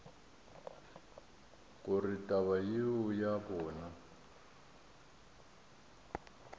gore taba yeo ya bona